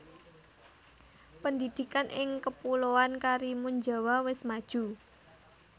Pendidikan ing kepuloan Karimunjawa wes maju